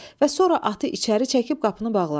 Və sonra atı içəri çəkib qapını bağladılar.